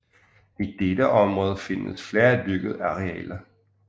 I dette område findes flere dyrkede arealer